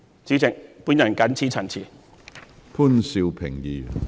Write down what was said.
主席，我謹此陳辭。